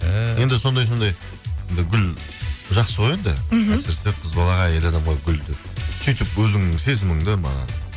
енді сондай сондай гүл жақсы ғой енді мхм әсіресе қыз балаға әйел адамға гүлді сөйтіп өзіңнің сезіміңді маған